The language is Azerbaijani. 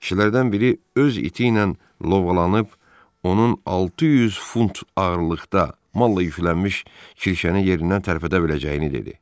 Kişilərdən biri öz iti ilə lovğalanıb, onun 600 funt ağırlıqda malla yüklənmiş kirşəni yerindən tərpədə biləcəyini dedi.